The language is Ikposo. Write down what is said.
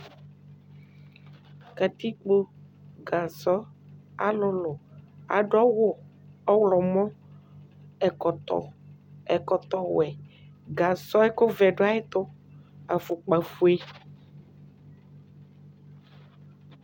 Katikpo gasɔ alʋlʋ adʋ awʋ ɔwlɔmɔ ɛkɔtɔwɛ gasɔ yɛ ɛkʋvɛ dʋ ayʋ ɛtʋ afʋkpafue